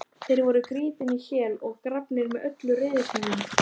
Þeir voru grýttir í hel og grafnir með öllum reiðtygjum.